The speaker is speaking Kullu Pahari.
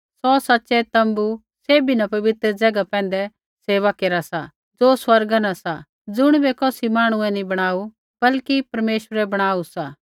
सौ सच़ै तोम्बू सैभी न पवित्र ज़ैगा पैंधै सेवा केरा सा ज़ो स्वर्गा न सा ज़ुणिबै कौसी मांहणुऐ नैंई बणाऊ बल्कि परमेश्वरै बणाऊ सा